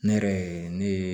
Ne yɛrɛ ye ne ye